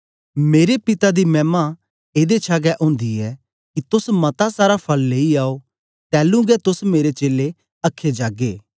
मेरे पिता दी मैमा एदे छा गै ओंदी ऐ कि तोस मता सारा फल लेई आओ तैलूं गै तोस मेरे चेलें अख्खे जागे